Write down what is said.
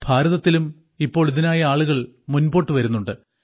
ഭാരതത്തിലും ഇപ്പോൾ ഇതിനായി ആളുകൾ മുൻപോട്ടു വരുന്നുണ്ട്